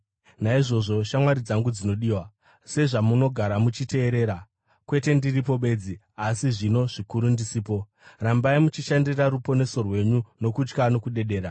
Naizvozvo, shamwari dzangu dzinodiwa, sezvamunogara muchiteerera, kwete ndiripo bedzi, asi zvino zvikuru ndisipo, rambai muchishandira ruponeso rwenyu nokutya nokudedera,